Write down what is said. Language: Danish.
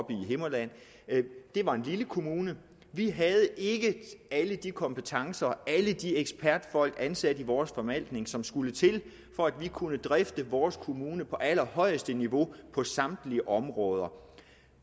i himmerland det var en lille kommune vi havde ikke alle de kompetencer og alle de ekspertfolk ansat i vores forvaltning som skulle til for at vi kunne drifte vores kommune på allerhøjeste niveau på samtlige områder